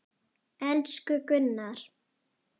Elsku Gunnar!